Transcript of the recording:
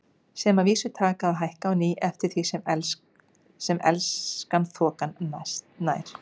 Sem að vísu taka að hækka á ný eftir því sem Elskan þokast nær.